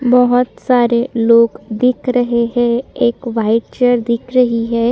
बहोत सारे लोग दिख रहे है एक वाइट चेयर दिख रही है।